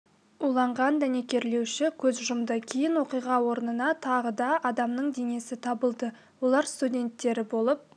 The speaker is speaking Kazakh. уланған дәнекерлеуші көз жұмды кейін оқиға орнында тағы да адамның денесі табылды олар студенттері болып